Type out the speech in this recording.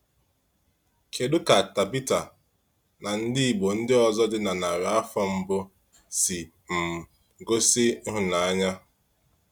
Kedu ka Tábítha na ndị Igbo ndị ọzọ dị na narị afọ mbụ si um gosi ịhụnanya?